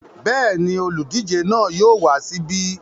Bẹ́ẹ̀ ni, olùdíje náà yóò wá síbí.